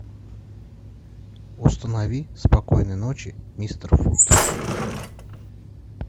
установи спокойной ночи мистер фут